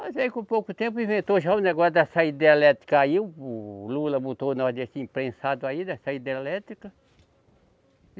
Mas aí com pouco tempo inventou já o negócio da saída elétrica aí, o, o Lula botou nós nesse imprensado aí dessa hidrelétrica.